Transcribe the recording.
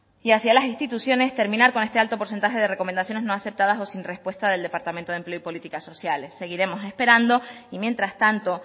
y hacia las instituciones terminar con este alto porcentaje de recomendaciones no aceptadas o sin respuesta del departamento de empleo o políticas sociales seguiremos esperando y mientras tanto